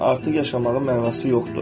Artıq yaşamağın mənası yoxdur.